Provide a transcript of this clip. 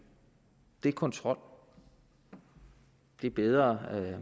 det er kontrol det er bedre